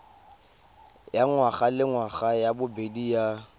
ya ngwagalengwaga ya bobedi ya